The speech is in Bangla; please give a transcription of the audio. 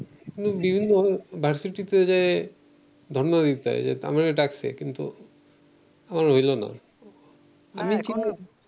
বিভিন্ন ভার্সিটিতে যেয়ে ধর্ণা দিতে হয় আমারে ডাকছে কিন্তু আমার হইলো না